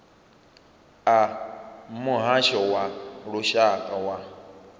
a muhasho wa lushaka wa